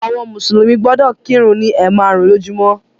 Àwọn mùsùlùmí gbọdọ̀ kírun ni ẹ̀maarun lójúmó.